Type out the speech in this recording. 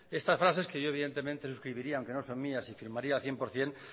estas frases que yo evidentemente suscribiría aunque no son mías y firmaría al cien por ciento